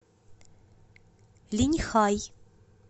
линьхай